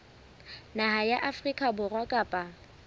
naha ya afrika borwa kapa